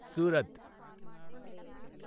Surat